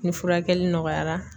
Ni furakɛli nɔgɔyara